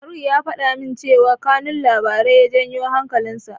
Faruk ya faɗa min cewa kanun labarin ya janyo hankalinsa.